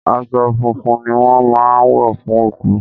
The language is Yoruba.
Aṣọ funfun ni wón máa ń wọ fún òkú.